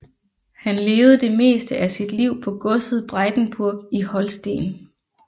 Han levede det meste af sit liv på godset Breitenburg i Holsten